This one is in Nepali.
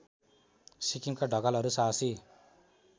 सिक्किममा ढकालहरू साहसी